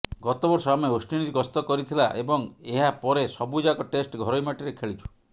ଗତବର୍ଷ ଆମେ ୱେଷ୍ଟଇଣ୍ଡିଜ୍ ଗସ୍ତ କରିଥିଲା ଏବଂ ଏହା ପରେ ସବୁଯାକ ଟେଷ୍ଟ ଘରୋଇ ମାଟିରେ ଖେଳିଛୁ